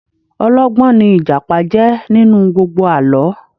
Ọlọ́gbọ́n ní Ìjàpá jẹ́ nínú gbogbo àlọ́